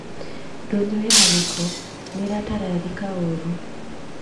Ndũnyu ĩna gĩko nĩ ĩratararĩka ũũru